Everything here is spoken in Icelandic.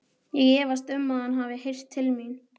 Ég efast um, að hann hafi heyrt til mín.